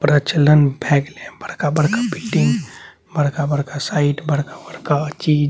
प्रचलन भय गेले बड़का बड़का बिल्डिंग बड़का बड़का साइट बड़का-बड़का चीज |